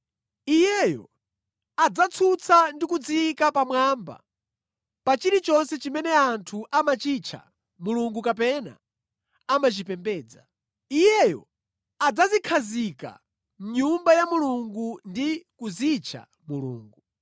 Iyeyo adzatsutsa ndi kudziyika pamwamba pa chilichonse chimene anthu amachitcha mulungu kapena amachipembedza. Iyeyo adzadzikhazika mʼNyumba ya Mulungu ndi kudzitcha Mulungu.